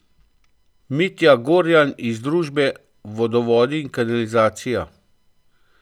Mitja Gorjan iz družbe Vodovodi in kanalizacija.